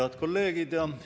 Head kolleegid!